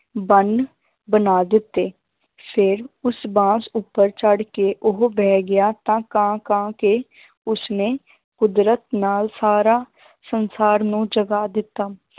ਬੰਨ ਬਣਾ ਦਿੱਤੇ ਫਿਰ ਉਸ ਬਾਂਸ ਉੱਪਰ ਚੜ੍ਹ ਕੇ ਉਹ ਬਹਿ ਗਿਆ ਤਾਂ ਕਾਂ ਕਾਂ ਕੇ ਉਸਨੇ ਕੁਦਰਤ ਨਾਲ ਸਾਰਾ ਸੰਸਾਰ ਨੂੰ ਜਗਾ ਦਿੱਤਾ